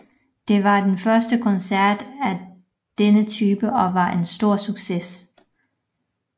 Det var den første koncert af denne type og var en en stor succes